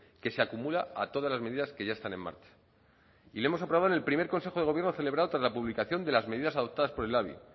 que se acumula a todas las medidas que ya están en marcha y lo hemos aprobado en el primer consejo de gobierno celebrado tras la publicación de las medidas adoptadas por el labi